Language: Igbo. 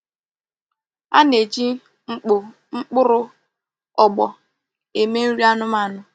Ana eji mkpo mkpuru ogbo eme nri anumanu.